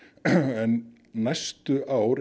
en næstu ár